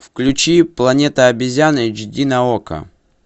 включи планета обезьян эйч ди на окко